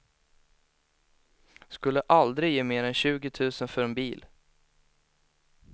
Skulle aldrig ge mer än tjugo tusen för en bil.